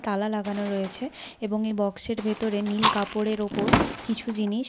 তালা লাগানো রয়েছে এবং এই বাক্স এর ভেতরে নীল কাপড়ের ওপর কিছু জিনিস--